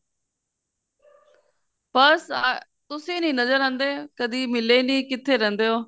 ਬੱਸ ਆ ਤੁਸੀਂ ਨੀਂ ਨਜਰ ਆਉਂਦੇ ਕਦੀ ਮਿਲੇ ਨੀਂ ਕਿੱਥੇ ਰਹਿੰਦੇ ਓ